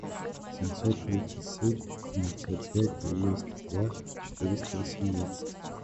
семьсот тридцать семь девятьсот пять девяносто два четыреста восемнадцать